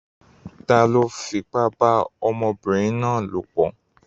Ta ló fipá bá ọmọbìnrin náà lopọ̀?